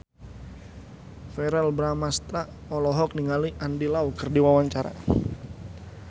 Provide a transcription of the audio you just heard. Verrell Bramastra olohok ningali Andy Lau keur diwawancara